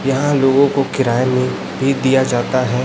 यहां लोगों को किराए में भी दिया जाता है।